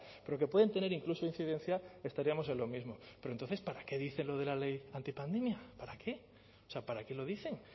pero que pueden tener incluso incidencia estaríamos en lo mismo pero entonces para qué dice lo de la ley antipandemia para qué o sea para qué lo dicen